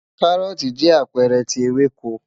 Káróòtì jẹ́ apẹ́ẹ̀rẹ̀ tí ewéko